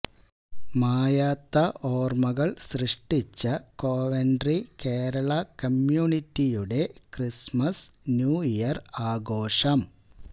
മായാത്ത ഓർമകൾ സൃഷ്ട്ടിച്ച കോവെന്ററി കേരള കമ്മ്യൂണിറ്റിയുടെ ക്രിസ്റ്മസ് ന്യൂ ഇയർ ആഘോഷം